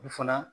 U fana